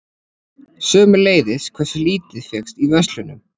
Sömuleiðis hversu lítið fékkst í verslunum.